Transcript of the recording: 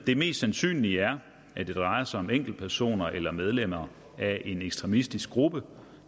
det mest sandsynlige er at det drejer sig om enkeltpersoner eller medlemmer af en ekstremistisk gruppe